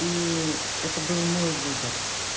и это был мой выбор